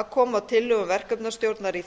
að koma tillögu verkefnastjórnar í